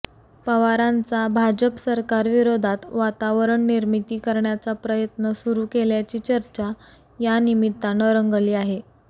पवारांचा भाजप सरकारविरोधात वातावरण निर्मिती करण्याचा प्रयत्न सुरू केल्याची चर्चा यानिमित्तानं रंगली आहे